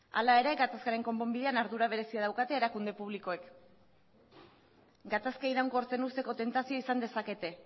hala ere gatazkaren konponbidean ardura berezia daukate erakunde publikoek gatazka iraunkortzen uzteko tentazioa izan dezakete